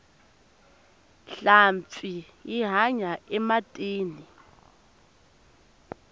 nhlampfi yi hanya ematini